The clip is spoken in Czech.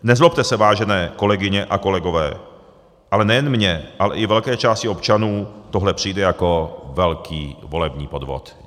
Nezlobte se, vážené kolegyně a kolegové, ale nejen mně, ale i velké části občanů tohle přijde jako velký volební podvod.